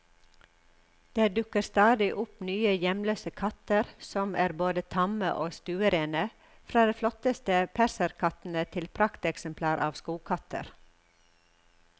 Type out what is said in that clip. Det dukker stadig opp nye hjemløse katter, som er både tamme og stuerene, fra de flotteste perserkattene til prakteksemplarer av skogkatter.